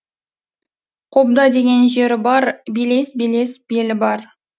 қобда деген жері бар белес белес белі бар